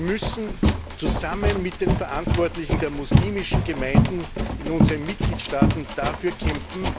Wir müssen zusammen mit den Verantwortlichen der muslimischen Gemeinden in unseren Mitgliedstaaten dafür kämpfen,